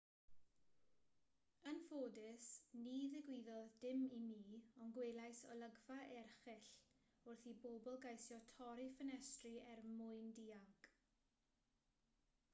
yn ffodus ni ddigwyddodd dim i mi ond gwelais olygfa erchyll wrth i bobl geisio torri ffenestri er mwyn dianc